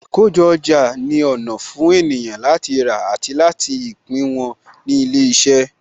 Àkójọ ọjà ni ọ̀nà fún ènìyàn láti rà àti ta ìpín wọn ní ilé iṣẹ́.